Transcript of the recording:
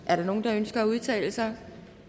der nogen der ønsker at udtale sig